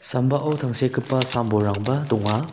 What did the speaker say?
sambao tangsekgipa sam bolrangba donga.